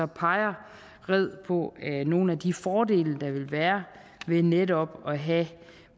peger red på nogle af de fordele der vil være ved netop at have